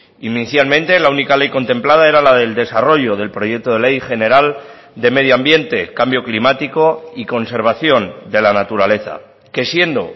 inicialmente la única ley contemplada era la del desarrollo del proyecto de ley general de medio ambiente cambio climático y conservación de la naturaleza que siendo